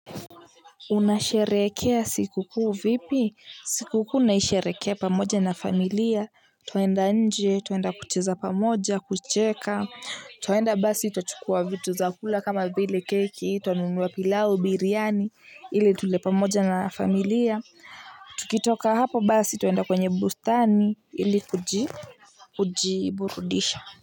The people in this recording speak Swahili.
Unasherehekea siku kuu vipi? Siku kuu naisherekea pamoja na familia twaenda nje twaenda kucheza pamoja kucheka twaenda basi twachukua vitu zakula kama vile keki twanunuwa pilau biryani ili tule pamoja na familia tukitoka hapo basi tuenda kwenye bustani ili kujiburudisha.